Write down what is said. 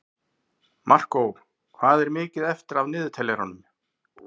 Markó, hvað er mikið eftir af niðurteljaranum?